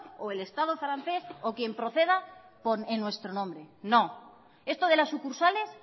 o el estado francés o quien proceda en nuestro nombre no esto de las sucursales